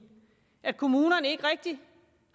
at kommunerne ikke rigtig